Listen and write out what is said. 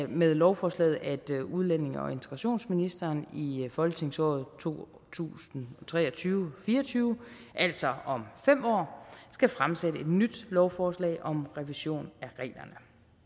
med lovforslaget at udlændinge og integrationsministeren i folketingsåret to tusind og tre og tyve fire og tyve altså om fem år skal fremsætte et nyt lovforslag om revision af reglerne